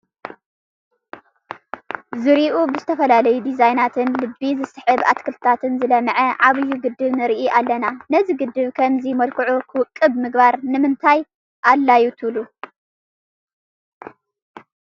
ዙርይኡ ብዝተፈላለዩ ዲዛይንናትን ልቢ ዝስህቡ ኣትክልታትን ዝለምዐ ዓብዪ ግድብ ንርኢ ኣለና፡፡ ነዚ ግድብ ብኸምዚ መልክዑ ክውቅብ ምግባር ንምንታይ ኣድልዩ ትብሉ?